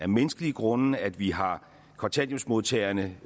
menneskelige grunde at vi har kontanthjælpsmodtagere